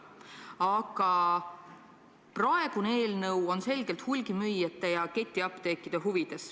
Aga praegune eelnõu on selgelt hulgimüüjate ja ketiapteekide huvides.